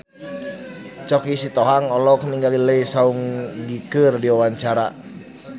Choky Sitohang olohok ningali Lee Seung Gi keur diwawancara